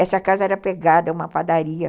Essa casa era pegada a uma padaria.